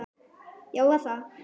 Já, var það?